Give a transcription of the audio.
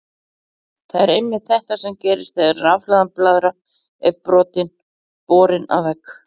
Það er einmitt þetta sem gerist þegar rafhlaðin blaðra er borin að vegg.